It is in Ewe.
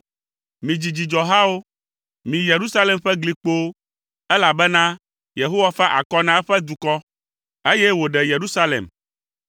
Midzi dzidzɔhawo, mi Yerusalem ƒe gli kpowo, elabena Yehowa fa akɔ na eƒe dukɔ, eye wòɖe Yerusalem.